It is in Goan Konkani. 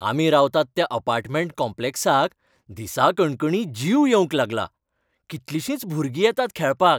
आमी रावतात त्या अपार्टमेंट कॉम्प्लेक्साक दिसाकणकणी जीव येवंक लागला, कितलिशींच भुरगीं येतात खेळपाक.